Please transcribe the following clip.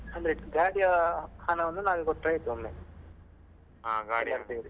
ಅಂದ್ರೆ ಗಾಡಿಯ ಹಣವನ್ನು ನಾವೇ ಕೊಟ್ರೆ ಆಯ್ತು ಒಮ್ಮೆ ಎಲ್ಲರೂ ಸೇರಿ.